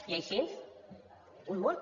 i així un munt